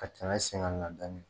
Ka tɛmɛ sen kan dɔɔnin